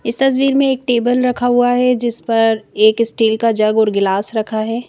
इस तस्वीर में एक टेबल रखा हुआ है जिस पर एक इस्टील का जग और गिलास रखा है।